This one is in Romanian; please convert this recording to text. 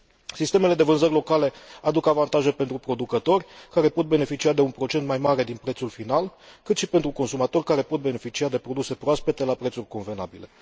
Sistemele de vânzări locale aduc avantaje pentru producători, care pot beneficia de un procent mai mare din prețul final, cât și pentru consumatori, care pot beneficia de produse proaspete la prețuri convenabile.